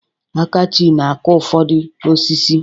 Akachi na-akụ ụfọdụ osisi.